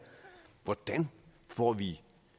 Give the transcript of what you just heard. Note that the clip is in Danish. hvordan får vi